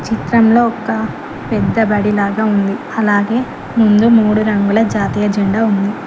చిత్రంలో ఒక పెద్ద బడి లాగా ఉంది అలాగే ముందు మూడు రంగుల జాతీయ జండా ఉంది.